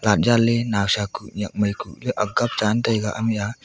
atjale nawsa ku nyakmai ku le akga jantaiga ami aa.